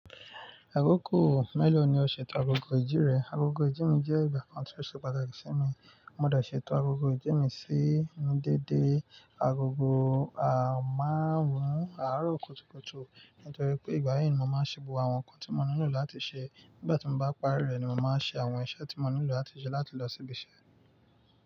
Àkókò mélòó ni o ṣètò agogo ìjí rẹ? Agogo ìjí mi jẹ́ ìgbà kan tí ó ṣe pàtàkì sí mi. Mo máa dà ṣètò agogo ìdí mi sí ní dédé. Agogo, a máa ń rùn àárọ̀ kùtùkùtù. Nítorí pé ìgbà yẹn ni mo máa ṣebù àwọn nǹkan tí mo nílò láti ṣe. Nígbà tí mo bá parí rẹ̀ ni mo máa ṣe àwọn iṣẹ́ tí mo nílò láti ṣe láti lọ síbi iṣẹ́.